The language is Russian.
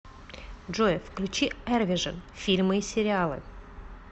джой включи эрвижин фильмы и сериалы